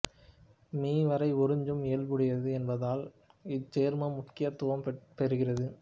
me வரை உறிஞ்சும் இயல்புடையது என்பதால் இச்சேர்மம் முக்கியத்துவம் பெறுகிறது